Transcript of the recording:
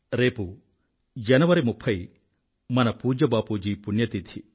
రేపు జనవరి 30 మన పూజ్య బాపూజీ పుణ్య తిధి